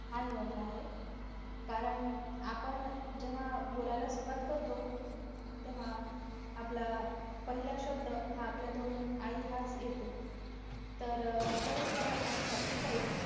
हा निवडला आहे कारण आपण जेव्हा बोलायला सुरुवात करतो तेव्हा आपला पहिला शब्द हा आपल्या तोंडून आई हाच येतो तर mothers love and sacrifice